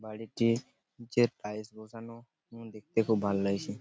বাড়িটি যে টাইল্স বসানো দেখতে খুব ভালো লাগছে ।